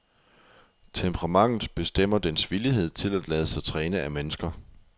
Temperamentet bestemmer dens villighed til at lade sig træne af mennesker.